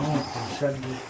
İsti var.